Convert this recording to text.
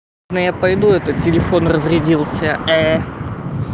ну я пойду а то телефон разрядился